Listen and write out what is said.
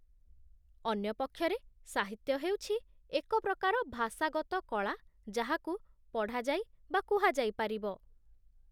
ଅନ୍ୟ ପକ୍ଷରେ, ସାହିତ୍ୟ ହେଉଛି ଏକ ପ୍ରକାର ଭାଷାଗତ କଳା ଯାହାକୁ ପଢ଼ାଯାଇ ବା କୁହାଯାଇପାରିବ